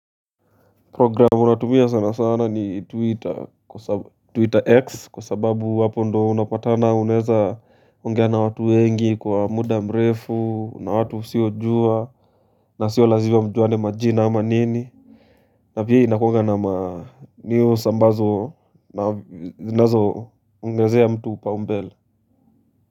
Programu natumia sanasana ni Twitter kwa twitter X kwa sababu hapo ndo unapatana unaweza ongea na watu wengi kwa muda mrefu na watu usiojua na sio lazima mjuane majina ama nini na pia inakuanga na manews ambazo na zinazoongezea mtu upaumbele.